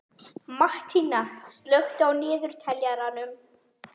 Mattína, slökktu á niðurteljaranum.